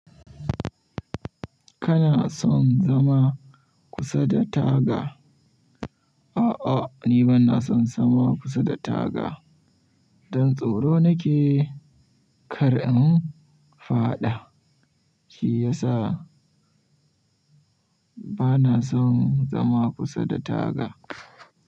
Kana son zama kusa da taga? A'a, ni bana son zama kusa da taga. Don tsoro nake kar in faɗa. Shi yasa bana son zama kusa da taga.